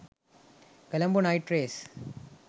colombo night race